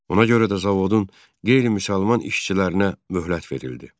Ona görə də zavodun qeyri-müsəlman işçilərinə möhlət verildi.